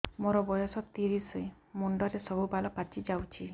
ମୋର ବୟସ ତିରିଶ ମୁଣ୍ଡରେ ସବୁ ବାଳ ପାଚିଯାଇଛି